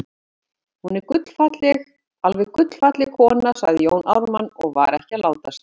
Hún er alveg gullfalleg kona, sagði Jón Ármann og var ekki að látast.